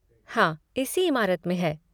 हाँ, इसी इमारत में है।